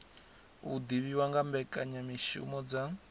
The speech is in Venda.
u divhiwa nga mbekanyamishumo dza